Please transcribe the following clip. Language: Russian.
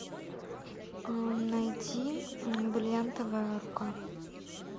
найди бриллиантовая рука